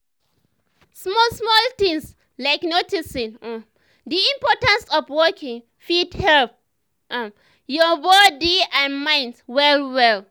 small small things like noticing um the importance of walking fit help um your um body and mind well well.